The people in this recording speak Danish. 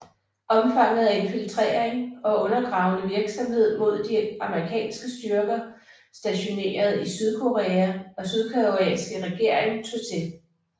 Omfanget af infiltrering og undergravende virksomhed mod de amerikanske styrker stationeret i Sydkorea og Sydkoreanske regering tog til